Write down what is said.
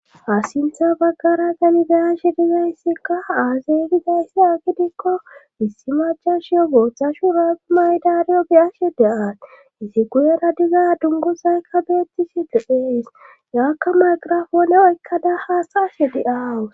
Ha sintha baggara tani be7ashe dizayssikka aazee gizayssa gidikko issi maccashiyo booththa shurabe mayidariyo beyashe de7ayssi guyera baggaara dunguzaykka beettishe dees izzakka maqirafoone oykkada haasa7ashe de7awus